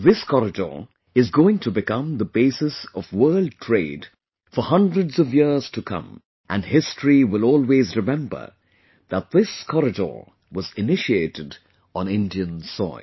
This corridor is going to become the basis of world trade for hundreds of years to come, and history will always remember that this corridor was initiated on Indian soil